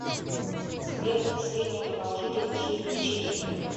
сбер средняя продолжительность жизни в чехия